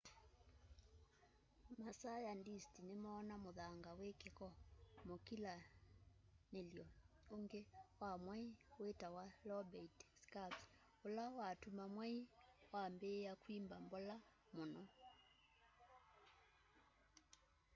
masayandisti nimoona muthanga wi kiko mukilanily'o uungi wa mwai witawa lobate scarps ula watuma mwai wambiia kwimba mbola muno